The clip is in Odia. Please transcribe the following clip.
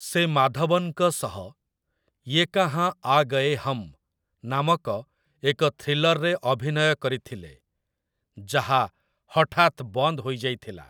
ସେ ମାଧବନ୍‌ଙ୍କ ସହ 'ୟେ କାହାଁ ଆ ଗଏ ହମ୍' ନାମକ ଏକ ଥ୍ରୀଲର୍‌ରେ ଅଭିନୟ କରିଥିଲେ, ଯାହା ହଠାତ୍ ବନ୍ଦ ହୋଇଯାଇଥିଲା ।